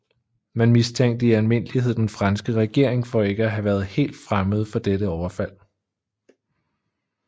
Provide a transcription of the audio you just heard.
Man mistænkte i almindelighed den franske regering for ikke at have været helt fremmed for dette overfald